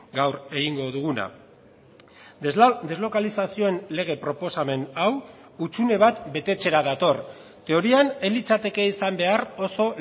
gaur egingo duguna deslokalizazioen lege proposamen hau hutsune bat betetzera dator teorian ez litzateke izan behar oso